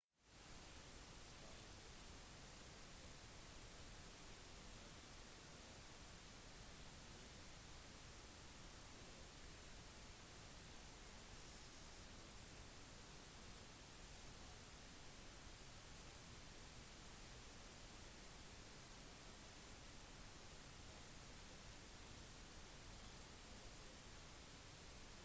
satellittene som begge hadde en vekt i overkant av 1000 kilo og en hastighet på ca 17 500 miles i timen krasjet 491 miles over jorden